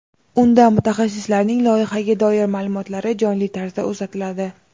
Unda mutaxassislarning loyihaga doir ma’lumotlari jonli tarzda uzatiladi.